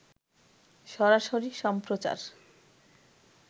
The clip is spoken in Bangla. সরাসরি সম্প্রচার